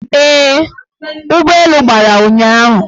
Ee, ụgbọelu gbara ụnyahụ